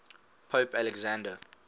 pope alexander